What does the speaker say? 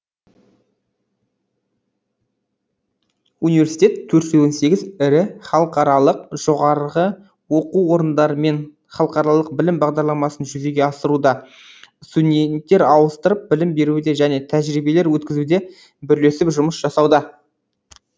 университет төрт жүз он сегіз ірі халықаралық жоғарғы оқу орындарымен халықаралық білім бағдарламасын жүзеге асыруда студенттер ауыстырып білім беруде және тәжірибелер өткізуде бірлесіп жұмыс жасауда